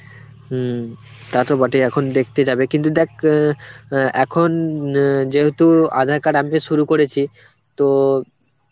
হম. তা তো বটে এখন দেখতে যাবে কিন্তু দেখ, অ্যাঁ এখন অ্যাঁ যেহুতু aadhar card update শুরু করেছি তো